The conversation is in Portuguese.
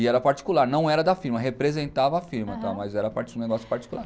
E era particular, não era da firma, representava a firma, mas era um negócio particular.